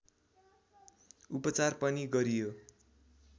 उपचार पनि गरियो